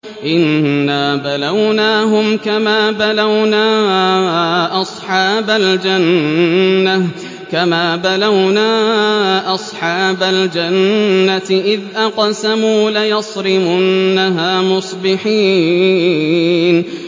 إِنَّا بَلَوْنَاهُمْ كَمَا بَلَوْنَا أَصْحَابَ الْجَنَّةِ إِذْ أَقْسَمُوا لَيَصْرِمُنَّهَا مُصْبِحِينَ